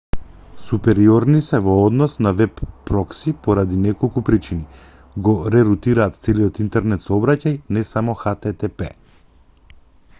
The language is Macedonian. супериорни се во однос на веб прокси поради неколку причини го ре-рутираат целиот интернет сообраќај не само http